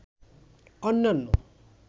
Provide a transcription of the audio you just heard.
অন্যান্য